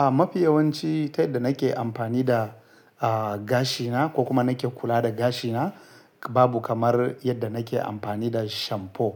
A mafi yawanci ta yadda nake amfani da, a, gashina ko kuma nake kula da gashina, babu kamar yadda nake amfani da shamfo.